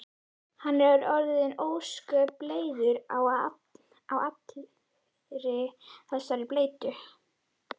Hann er orðinn ósköp leiður á allri þessari bleytu.